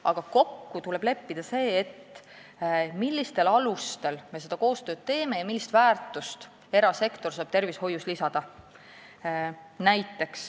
Aga kokku tuleb leppida see, millistel alustel me koostööd teeme ja millist väärtust saab erasektor tervishoidu lisada.